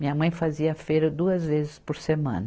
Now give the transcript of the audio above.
Minha mãe fazia feira duas vezes por semana.